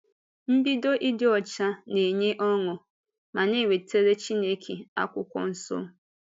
Mbido dị ọcha na-enye ọṅụ ma na-ewetara Chineke Akwụkwọ Nsọ.